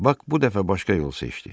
Bak bu dəfə başqa yol seçdi.